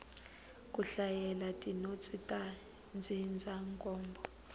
ku hlayela tinotsi ta ndzindzakhombo